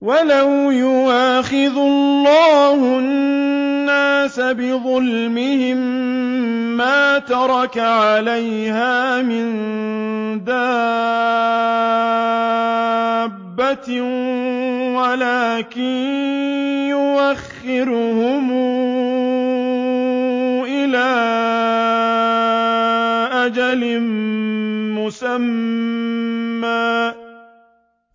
وَلَوْ يُؤَاخِذُ اللَّهُ النَّاسَ بِظُلْمِهِم مَّا تَرَكَ عَلَيْهَا مِن دَابَّةٍ وَلَٰكِن يُؤَخِّرُهُمْ إِلَىٰ أَجَلٍ مُّسَمًّى ۖ